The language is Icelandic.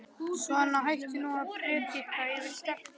Svona, hættu nú að predika yfir stelpunni.